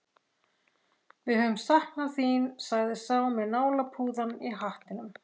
Við höfum saknað þín, sagði sá með nálapúðann í hattinum.